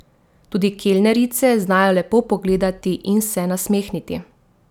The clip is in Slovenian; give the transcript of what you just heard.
Tudi kelnerice znajo lepo pogledati in se nasmehniti.